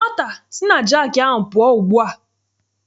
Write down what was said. Nwata si na jaakị ahụ pụọ ugbu a!